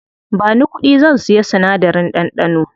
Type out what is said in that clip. Bani kuɗi, zan siya sinadarin ɗanɗano.